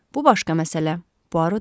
Bu başqa məsələ, Buaro dedi.